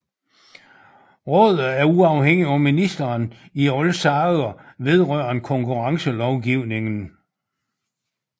Rådet er uafhængigt af ministeren i alle sager vedrørende konkurrencelovgivningen